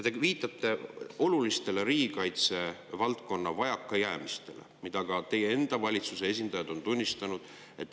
Te viitate riigikaitse valdkonna olulistele vajakajäämistele, mida ka teie enda valitsuse esindajad on tunnistanud.